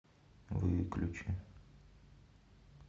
выключи